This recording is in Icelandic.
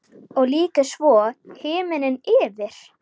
Og lýkur svo: Himinn yfir.